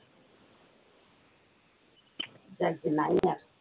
যাগ্গে নাই আসুক।